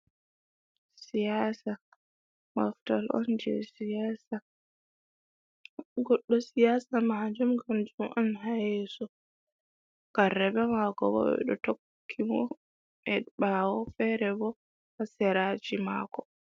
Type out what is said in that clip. siyasa maftal on je siyaasa. Goɗɗo siyasa maajum gamjum on hayeso, karrebe mako bo ɓeɗo tokki mo e ɓawo fere bo haseraji mako.